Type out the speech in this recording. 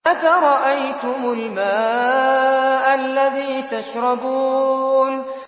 أَفَرَأَيْتُمُ الْمَاءَ الَّذِي تَشْرَبُونَ